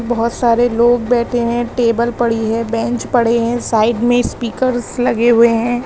बहुत सारे लोग बैठे हैं टेबल पड़ी है बेंच पड़े हैं साइड में स्पीकर लगे हुए हैं।